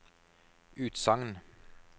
utsagn